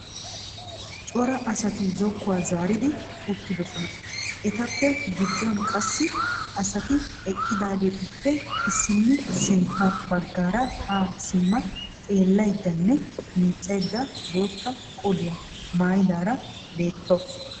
Cora asati zokkuwa zaaridi uttidosona. Etappe gidduwan qassi asati eqqidaagetuppe issinna sintta baggaara haa simma xeellayiddanne miiccayidda bootta qoliya mayyidaara beettawusu.